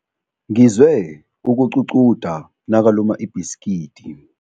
Ngizwe ukuququda nakaluma ibhisikidi.